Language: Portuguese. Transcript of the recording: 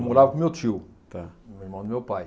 Eu morava com meu tio. Tá. Irmão do meu pai.